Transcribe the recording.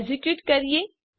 execute કરીએ